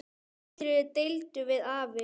Þeirri ástríðu deildum við afi.